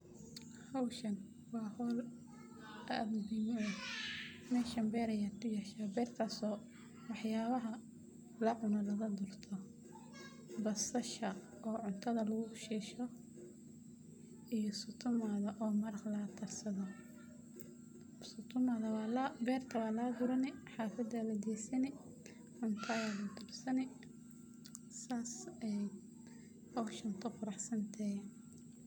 Howshan waa howl aad muhiim u ah, meeshan beer ayaa kuyasha beertaas oo wax yaabaha lacuno laga gurto, basasha oo cuntada lugu shiisho iyo sukumaga oo maraqa laga karsado, sukumaga waa laga gurani, xafada ayaa lageysani cuntada ayaa lagu karsani, saas ayaay howshan ku qurax santahay.